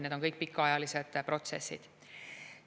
Need on kõik pikaajalised protsessid.